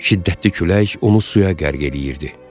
Şiddətli külək onu suya qərq eləyirdi.